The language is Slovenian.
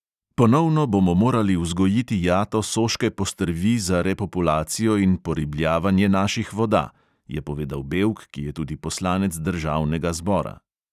"Ponovno bomo morali vzgojiti jato soške postrvi za repopulacijo in poribljavanje naših voda," je povedal bevk, ki je tudi poslanec državnega zbora.